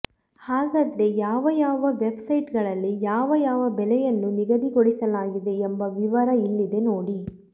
ಹಾಗಾದ್ರೆ ಯಾವ ಯಾವ ವೆಬ್ ಸೈಟ್ ಗಳಲ್ಲಿ ಯಾವ ಯಾವ ಬೆಲೆಯನ್ನು ನಿಗದಿಗೊಳಿಸಲಾಗಿದೆ ಎಂಬ ವಿವರ ಇಲ್ಲಿದೆ ನೋಡಿ